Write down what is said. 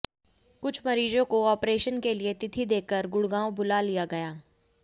कुछ मरीजों को ऑपरेशन के लिए तिथि देकर गुडग़ांव बुला लिया गया